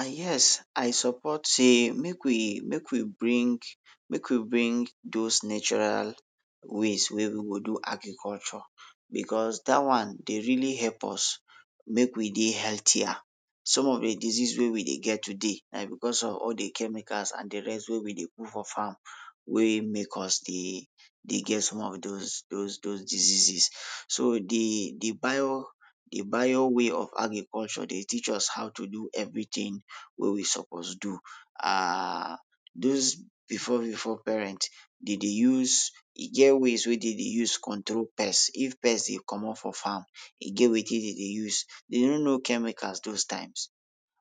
And yes I support sey make we, make we bring, make we bring dos natural ways wey we go agriculture becos dat one dey really help us make we dey healthier. Some of de disease wey we dey get today, na becos of all de chemicals and de rest wey we dey put for farm wey make use dey get some of dos, dos dos diseases, so de prior, de prior way of agriculture dey teach us how to do everytin wey we suppose do. um dos before before parent dey dey use, e get ways wey dey dey use control pest. If pest dey comot for farm, e get wetin dey dey use. Dey no no chemicals dos times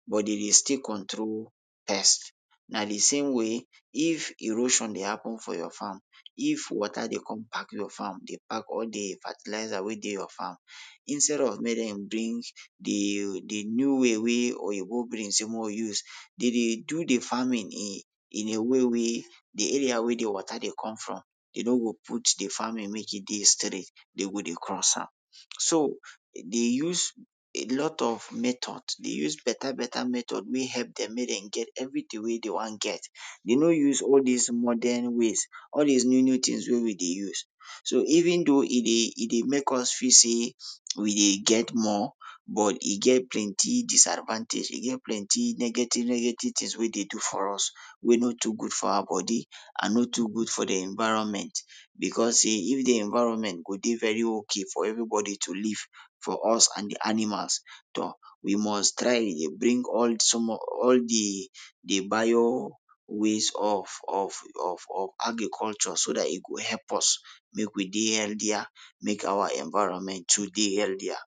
but dey dey still control pest. Na de same way if erosion dey happen for your farm, if water dey come pack your farm, dey pack all de fertilisers wey dey your farm, instead of make dem bring de, de new way wey Oyibo bring sey make we use, dey dey do de farming in, in a way wey de area wey de water dey come from e no go put de farming make e dey straight, den go dey cross am. So, dey use a lot of method, dey use beta beta method wey help dem make dem get everytin wey dey wan get, den no use all dis modern ways, all dis new new tins wey we dey use. So even though e dey, e dey make us feel sey we dey get more but e get plenty disadvantage, e get plenty negative negative tins wey dey do for us wey no too good for our bodi and no too good for de environment, becos sey if de environment go dey very ok for evverybodi to live for us and de animals, toh, we must try dey bring all small, all de bio ways of of of of agriculture so dat e go help us make we dey healthier, make our environment too dey healthier.